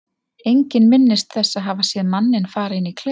Enginn minnist þess að hafa séð manninn fara inn í klefann.